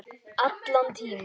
Allan tímann.